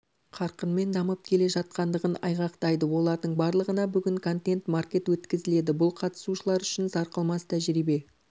қарқынмен дамып келе жатқандығын айғақтайды олардың барлығына бүгін контент-маркет өткізіледі бұл қатысушылар үшін сарқылмас тәжірибе